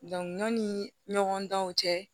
Dɔn ɲɔnni ɲɔgɔn danw cɛ